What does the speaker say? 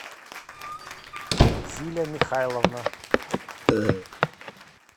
зиля михайловна